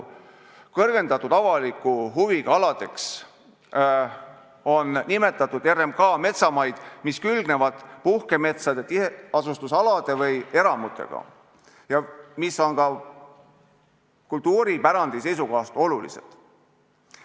Kõrgendatud avaliku huviga aladeks on nimetatud RMK metsamaid, mis külgnevad puhkemetsade, tiheasustusalade või eramutega ja mis on ka kultuuripärandi seisukohast olulised.